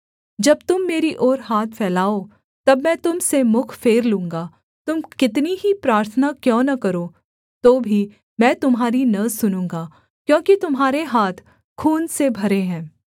जब तुम मेरी ओर हाथ फैलाओ तब मैं तुम से मुख फेर लूँगा तुम कितनी ही प्रार्थना क्यों न करो तो भी मैं तुम्हारी न सुनूँगा क्योंकि तुम्हारे हाथ खून से भरे हैं